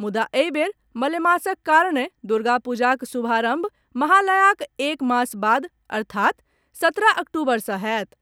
मुदा एहि बेर मलेमासक कारणे दुर्गापूजाक शुभारंभ महालयाक एक मास बाद अर्थात् सत्रह अक्टूबर सॅ होयत।